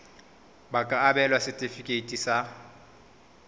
ba ka abelwa setefikeiti sa